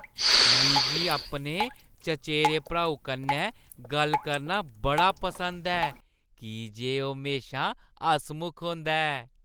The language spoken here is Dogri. मिगी अपने चचेरे भ्राऊ कन्नै गल्ल करना बड़ा पसंद ऐ की जे ओह् म्हेशा हसमुख होंदा ऐ।